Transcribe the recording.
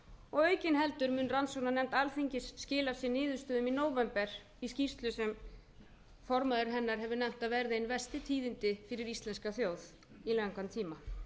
og aukin heldur mun rannsóknarnefnd alþingis skila sínum niðurstöðum í nóvember í skýrslu sem formaður hennar hefur nefnt að verði ein verstu tíðindi fyrir íslenska þjóð í langan tíma